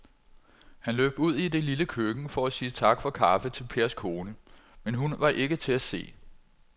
Han løb ud i det lille køkken for at sige tak for kaffe til Pers kone, men hun var ikke til at se.